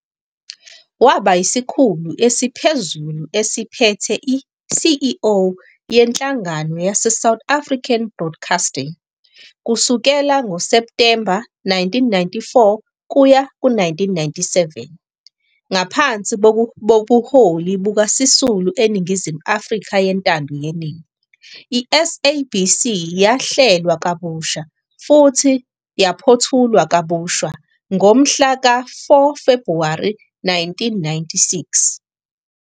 Waba yisikhulu esiphezulu esiphethe i-CEO yeNhlangano yaseSouth African Broadcasting kusukela ngo-Septemba 1994 kuya ku-1997. Ngaphansi kobuholi bukaSisulu eNingizimu Afrika yentando yeningi, i-SABC yahlelwa kabusha futhi yaphothulwa kabusha ngomhla ka-4 Febhuwari 1996.